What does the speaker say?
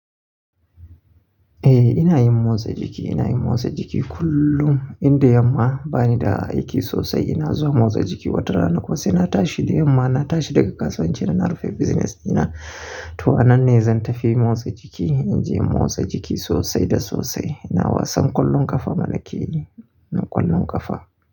Eh ina yin motsa jiki, ina yin motsa jiki kullum inda yamma bani da aiki sosai ina zuwa motsa jiki wata rana ko sai na tashi. Da yamma na tashi daga kasuwanci dana rufe business ina ta anan ne zan tafi motsa jiki. Inje motsa jiki sosai da sosai. Ina wasan kwallon ƙafa, malaki ne na kwallon ƙafa.